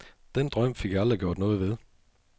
Den drøm fik jeg aldrig gjort noget ved.